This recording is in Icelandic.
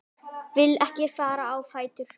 Vil ekki fara á fætur.